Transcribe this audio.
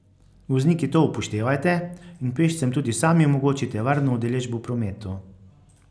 Vozniki to upoštevajte in pešcem tudi sami omogočite varno udeležbo v prometu.